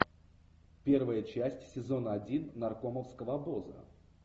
первая часть сезона один наркомовского обоза